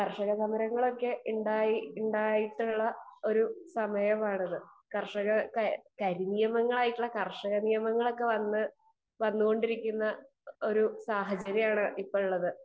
Speaker 2 കർഷക സമരങ്ങളൊക്കെ ഉണ്ടായിട്ടുള്ള ഒരു സമയമാണിത് . കരിനിയമങ്ങൾ ആയിട്ടുള്ള കർഷക നിയമങ്ങൾ ഒക്കെ വന്നുകൊണ്ടിരിക്കുന്ന സാഹചര്യമാണ് ഇപ്പൊ ഉള്ളത്